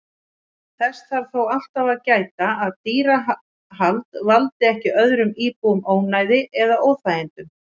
Þess þarf þó alltaf að gæta að dýrahald valdi ekki öðrum íbúum ónæði eða óþægindum.